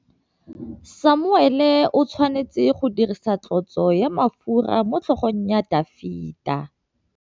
Samuele o tshwanetse go dirisa tlotsô ya mafura motlhôgong ya Dafita.